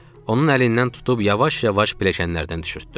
Onun əlindən tutub yavaş-yavaş pilləkənlərdən düşürtdüm.